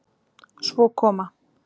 Svo koma